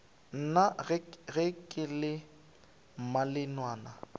na ge ke le mmalenawana